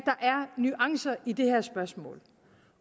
nuancer i det her spørgsmål